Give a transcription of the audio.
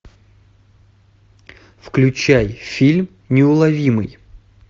включай фильм неуловимый